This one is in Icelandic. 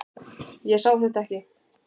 Ég sá þetta ekki.